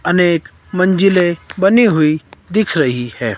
अनेक मंजिलें बनी हुई दिख रही है।